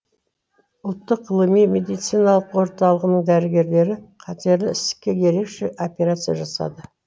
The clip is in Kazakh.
ұлттық ғылыми медициналық орталығының дәрігерлері қатерлі ісікке ерекше операция жасады